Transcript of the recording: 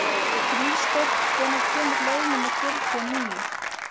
Fríðsteinn, hvenær kemur leið númer fjörutíu og níu?